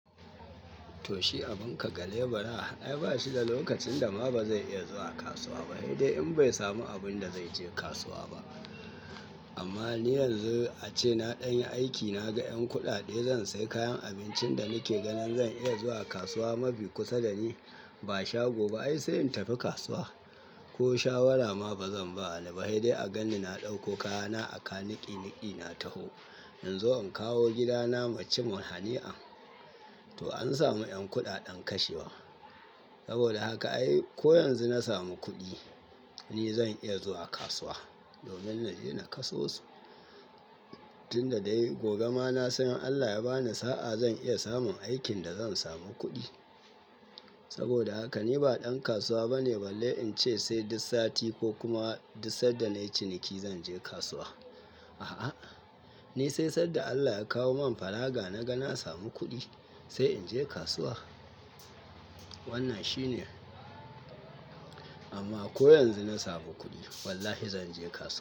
Toh shi abin ka gale bara, ai ba shi da lokacin dama ba zai iya zuwa kasuwa ba, sai dai in bai samu abun da zai je kasuwa ba. Amma ni yanzu ace na ɗan aiki, na ga ƴan kuɗaɗe zan sai kayan abincin da nake ganin zan iya zuwa kasuwa mafi kusa da ni, ba shago ba ai sai in tafi kasuwa. Ko shawara ma bazan ba, wani ba sai dai a gan ni na ɗauko kaya na a kan niƙi niƙi na taho in zo in kawo gida na mu ci mun hani'an. To an samu ƴan kuɗaɗen kashewa. Saboda haka ai ko yanzu na samu kuɗi ni zan iya zuwa kasuwa domin na je na kasosu. Tun da dai gobe ma na san in Allah ya bani sa'a zan iya samun aikin da zan samu kuɗi. Saboda haka ni ba ɗan kasuwa bane balle in ce sai duk sati ko kuma duk sanda nayi ciniki zan je kasuwa. A'a, ni sai sanda Allah ya kawo mun fara ga na ga na samu kuɗi sai in je kasuwa. Wannan shine. Amma ko yanzu na samu kuɗi wallahi zan je kasuwa.